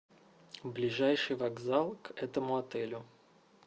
ближайший вокзал к этому отелю